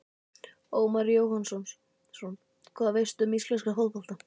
Ómar Jóhannsson Hvað veistu um íslenska fótbolta?